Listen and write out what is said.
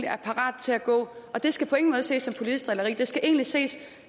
er parat til at gå det skal på ingen måde ses som politisk drilleri det skal egentlig ses